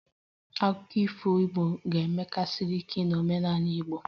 Akụkọ ifo Igbo ga-emesikarị ike n'omenala Igbo